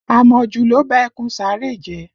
Àmọ̀jù ló ba ẹkùn Saare jẹ́